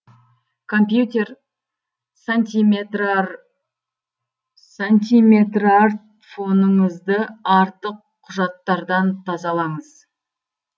компьютер сантиметрартфоныңызды артық құжаттардан тазалаңыз